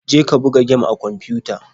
Je ka buga gem a kwamfiyuta.